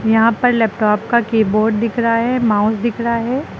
यहां पर लैपटॉप का कीबोर्ड दिख रहा है माउस दिख रहा है।